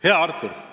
Hea Artur!